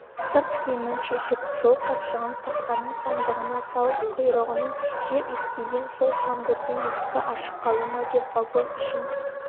сырт киімін шешіп жолқапшығын тақтаның сандығына салып құйрығының жер иіскеген сол тамбурдың есігі ашық қалды ма вагон ішін